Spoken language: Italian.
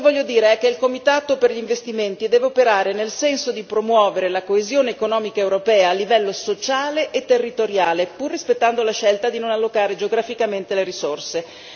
Quello che voglio dire è che il comitato per gli investimenti deve operare nel senso di promuovere la coesione economica europea a livello sociale e territoriale, pur rispettando la scelta di non allocare geograficamente le risorse.